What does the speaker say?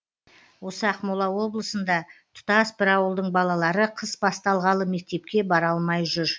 осы ақмола облысында тұтас бір ауылдың балалары қыс басталғалы мектепке бара алмай жүр